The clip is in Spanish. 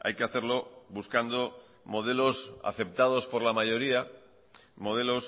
hay que hacerlo buscando modelos aceptados por la mayoría modelos